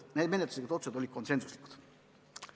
Need menetluslikud otsused olid konsensuslikud.